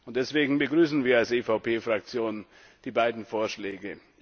Deswegen begrüßen wir als EVP Fraktion die beiden Vorschläge.